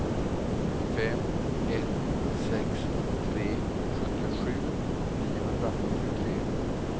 fem ett sex tre sjuttiosju niohundrafyrtiotre